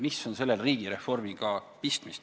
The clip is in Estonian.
Mis on sellel riigireformiga pistmist?